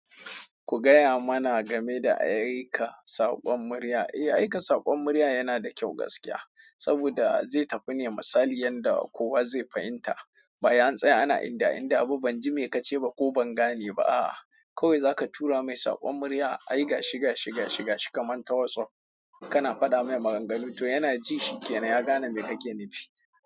Ku gaya mana game da aika saƙon murya. Eh, aika saƙon murya yana da kyau gaskiya, saboda zai tafi ne misali yadda kowa zai fahimta. Basai an tsaya ana inda inda abu banji me kace ba ko ban gane ba. A'a, kawai zaka tura mai saƙon murya, aiga shiga shiga shiga shi kaman ta WhatsApp, kana fada mai maganganu to yana ji shikenan ya gane me kake nufi.